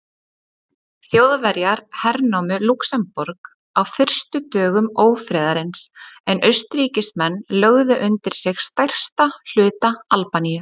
Þjóðverjar hernámu Lúxemborg á fyrstu dögum ófriðarins en Austurríkismenn lögðu undir sig stærsta hluta Albaníu.